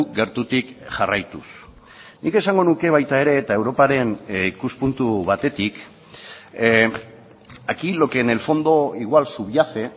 gertutik jarraituz nik esango nuke baita ere eta europaren ikuspuntu batetik aquí lo que en el fondo igual subyace